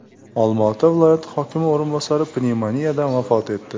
Olmaota viloyati hokimi o‘rinbosari pnevmoniyadan vafot etdi.